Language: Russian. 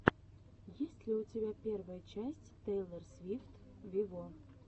есть ли у тебя первая часть тейлор свифт виво